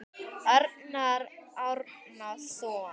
Arnar Árnason